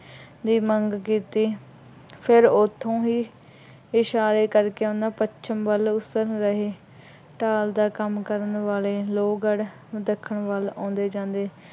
ਦੀ ਮੰਗ ਕੀਤੀ। ਫੇਰ ਉੱਥੋ ਹੀ ਇਸ਼ਾਰੇ ਕਰਕੇ ਉਹਨਾ ਪੱਛਮ ਵੱਲ ਉਸਰ ਰਹੇ ਢਾਲ ਦਾ ਕੰਮ ਕਰਨ ਵਾਲੇ ਲੋਹਗੜ੍ਹ ਦੱਖਣ ਵੱਲ ਆਉਂਦੇ ਜਾਂਦੇ